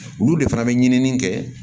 Olu de fana bɛ ɲinini kɛ